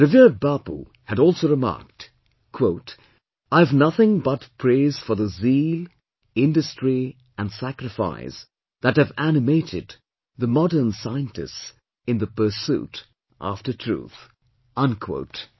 Revered Bapu had also remarked, "I have nothing but praise for the zeal, industry and sacrifice that have animated the modern scientists in the pursuit after truth"